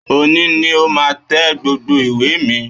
Òní ni o máa tẹ gbogbo ìwé mi!